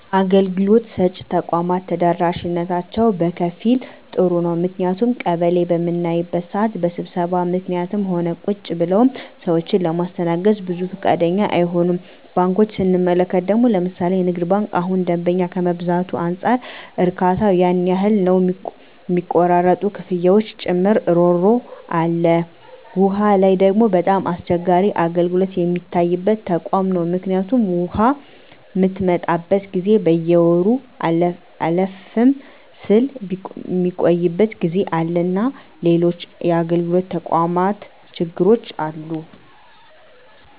አገልግሎት ሰጭ ተቋማት ተደራሽነታቸው በከፊል ጥሩ ነው ምክንያቱም ቀበሌ በምናይበት ስዓት በስብሰባ ምክኒትም ሆነ ቁጭ ብለውም ሰዎችን ለማስተናገድ ብዙ ፈቃደኛ አይሆኑም። ባንኮችን ስንመለከት ደግሞ ለምሣሌ ንግድ ባንክ እሁን ደንበኛ ከመብዛቱ አንፃር እርካታው ያን ያህል ነው ሚቆራረጡ ክፍያዎችን ጨምሮ እሮሮ አለ። ዉሃ ላይ ደግሞ በጣም አስቸጋሪ አገልግሎት ሚታይበት ተቋም ነው ምክኒቱም ውሃ ምትመጣበት ጊዜ በየወሩ አለፍም ስል ሚቆይበት ጊዜ አለና ሎሎችም የአገልግሎት ተቋማት ችግሮች አሉ።